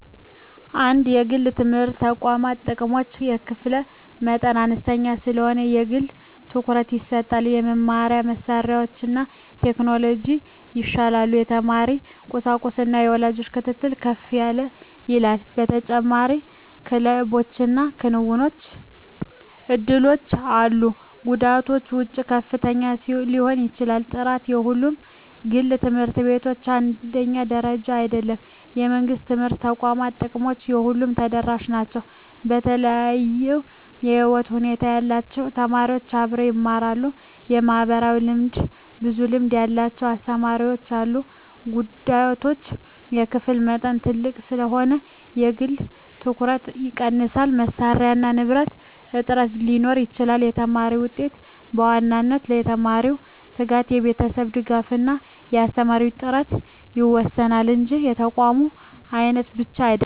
1) የግል የትምህርት ተቋማት ጥቅሞች የክፍል መጠን አነስተኛ ስለሆነ የግል ትኩረት ይሰጣል የመማሪያ መሳሪያዎችና ቴክኖሎጂ ይሻላሉ የተማሪ ቁጥጥርና የወላጅ ክትትል ከፍ ይላል ተጨማሪ ክለቦችና የክንውን እድሎች አሉ ጉዳቶች ወጪ ከፍተኛ ሊሆን ይችላል ጥራት በሁሉም ግል ት/ቤቶች አንድ ደረጃ አይደለም የመንግሥት የትምህርት ተቋማት ጥቅሞች ለሁሉም ተደራሽ ናቸው የተለያዩ የህይወት ሁኔታ ያላቸው ተማሪዎች አብረው ይማራሉ (ማህበራዊ ልምድ) ብዙ ልምድ ያላቸው አስተማሪዎች አሉ ጉዳቶች የክፍል መጠን ትልቅ ስለሆነ የግል ትኩረት ይቀንሳል መሳሪያና ንብረት እጥረት ሊኖር ይችላል የተማሪ ውጤት በዋናነት በተማሪው ትጋት፣ በቤተሰብ ድጋፍ እና በአስተማሪ ጥራት ይወሰናል እንጂ በተቋም አይነት ብቻ አይደለም።